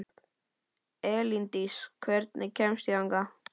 Elíndís, hvernig kemst ég þangað?